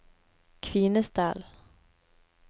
Kvinesdal